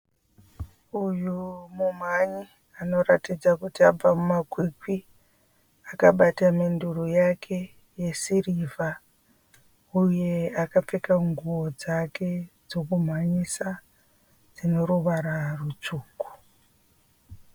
Uyu mumhanyi anoratidza kuti abva mumakwikwi. Akabata menduro yake yesirivha, uye akapfeka nguwo dzake dzekumhanyisa dzine ruvara rutsvuku.